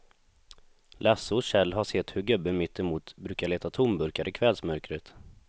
Lasse och Kjell har sett hur gubben mittemot brukar leta tomburkar i kvällsmörkret.